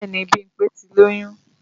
Bẹ́ẹ̀ni Bímpé ti lóyún